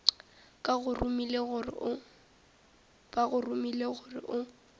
ba go romile gore o